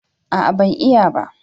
A'a ban iya ba